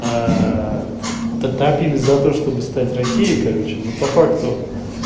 топили за то чтобы стать россией короче но по факту